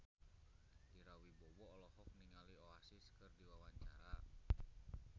Ira Wibowo olohok ningali Oasis keur diwawancara